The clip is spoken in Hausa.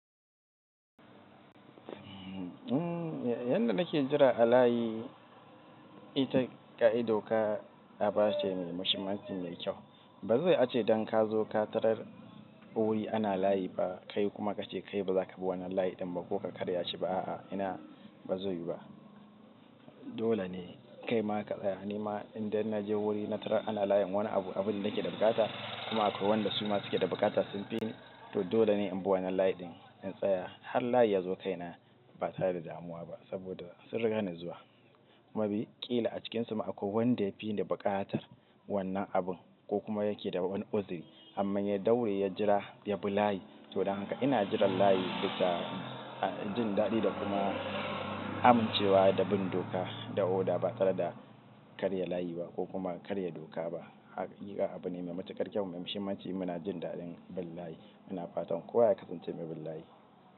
Yanda nake jira a layi ita ka'ida ka ba ce mai mashin macin mai kyau. Ba zaiyu a ce don ka zo ka tarar wuri ana layi ba, kai kuma ka ce kai ba za ka bi wannan layi ɗin ba ko ka karya shi ba a'a, ina ba zai yu ba. Dole ne kai ma ka tsaya, ni ma in da na je wuri na tarar ana layen wani abu, abunda nake da buƙata kuma akwai wanda su ma suke da buƙata sun fi ni, to dole ne inbi wannan layi ɗin in tsaya har layi yazo kaina ba tare da damuwa ba saboda sun rigani zuwa maybe ƙila a cikinsu ma akwai wanda yafi ni buƙatar wannan abin kokuma yakeda wani uzuri amman ya daure ya jira ya bi layi, to don haka ina jiran layi bisa jin daɗi da kuma amincewa da bin doka da oda ba tare da karya layi ba ko kuma karya doka ba. A gaskiya abune mai matuƙar kyau mai mahimmanci muna jin daɗin bin layi muna fatan kowa ya kasance mai bin layi.